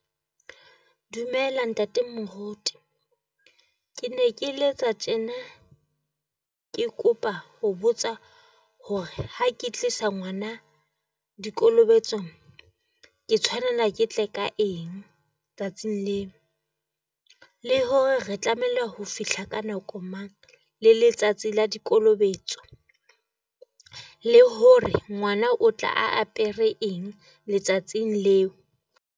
Dumela ntate moruti Ke ne ke letsa tjena ke kopa ho botsa hore ha ke tlisa ngwana dikolobetsong, ke tshwanela ke tle ka eng tsatsing leo? Le hore re tlamehile ho fihla ka nako mang, le letsatsi la dikolobetsong? Le hore ngwana o tla apere eng letsatsing leo?